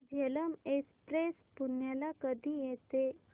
Jhelum express पुण्याला कधी येते